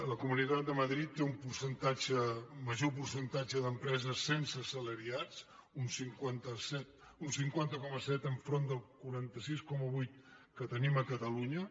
la comunitat de madrid té major percentatge d’empreses sense assalariats un cinquanta coma set davant del quaranta sis coma vuit que tenim a catalunya